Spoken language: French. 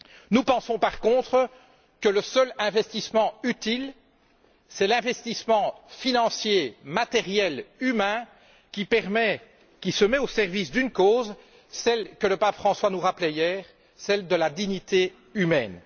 Nous pensons, par contre, que le seul investissement utile est l'investissement financier, matériel et humain qui se met au service d'une cause, celle que le Pape François nous rappelait hier, celle de la dignité humaine.